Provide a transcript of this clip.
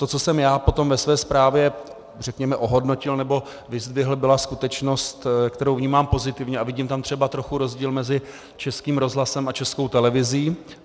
To, co jsem já potom ve své zprávě řekněme ohodnotil nebo vyzdvihl, byla skutečnost, kterou vnímám pozitivně, a vidím tam třeba trochu rozdíl mezi Českým rozhlasem a Českou televizí.